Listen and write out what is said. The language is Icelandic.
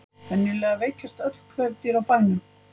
venjulega veikjast öll klaufdýr á bænum